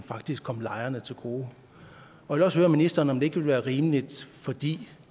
faktisk kom lejerne til gode jeg vil også høre ministeren om ikke være rimeligt fordi